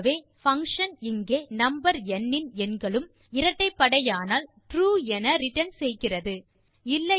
ஆகவே பங்ஷன் இங்கே நம்பர் ந் இன் எண்களும் இரட்டைப்படையானால் ட்ரூ என ரிட்டர்ன் செய்கிறது